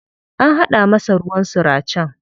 An haɗa masa ruwan suracen.